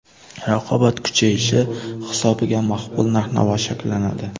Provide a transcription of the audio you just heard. Raqobat kuchayishi hisobiga maqbul narx-navo shakllanadi.